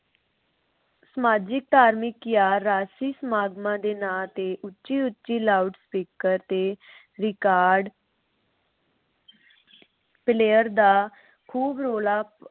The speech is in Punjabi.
ਸਮਾਜਿਕ, ਧਾਰਮਿਕ ਜਾਂ ਰਾਜਸੀ ਸਮਾਗਮਾਂ ਦੇ ਨਾਮ ਤੇ ਉੱਚੀ ਉੱਚੀ ਲਾਊਡ ਸਪੀਕਰ ਦੇ record player ਦਾ ਖੂਬ ਰੌਲ਼ਾ